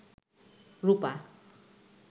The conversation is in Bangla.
রূপা